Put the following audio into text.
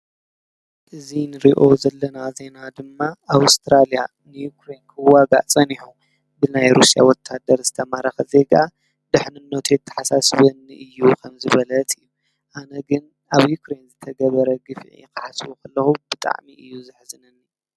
እዚ እንሪኦ ዜና ድማ ኣውስትራልያን ዩክሬንን ክዋጋእ ፀኒሑ ብናይ ሩስያ ዝተማረኸ ዜጋ ድሕንነቱ የተሓሳስበኒ እዩ ከም ዝበለት እዩ ኣነ ግን ኣብ ዩክሬን ዝተገበረ ግፍዒ ክሓስቦ ከለኩ ብጣዕሚ እዩ ዘሕዝነኒ፡፡